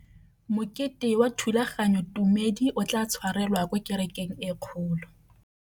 Mokete wa thulaganyôtumêdi o tla tshwarelwa kwa kerekeng e kgolo.